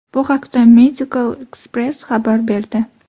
Bu haqda Medical Xpress xabar berdi.